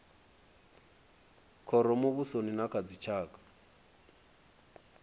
khoro muvhusoni na kha dzitshaka